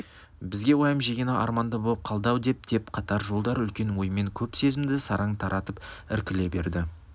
бізге уайым жегені арманда боп қалды-ау деп деп қатар жолдар үлкен оймен көп сезімді сараң таратып іркіле берді